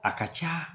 A ka ca